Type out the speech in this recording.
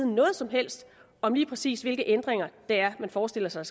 noget som helst om lige præcis hvilke ændringer man forestiller sig